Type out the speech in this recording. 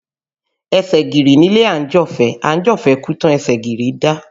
Ẹsẹ̀ gìrì nílé àńjọ̀fẹ́, àńjọ̀fẹ́ kú tán ẹsẹ̀ gìrì dá